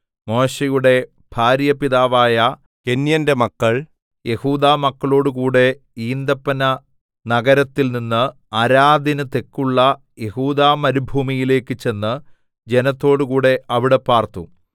മോശെയുടെ ഭാര്യാപിതാവായ കേന്യന്റെ മക്കൾ യെഹൂദാമക്കളോടുകൂടെ ഈന്തപ്പന നഗരത്തിൽ നിന്ന് അരാദിന്നു തെക്കുള്ള യെഹൂദാമരുഭൂമിയിലേക്ക് ചെന്ന് ജനത്തോടുകൂടെ അവിടെ പാർത്തു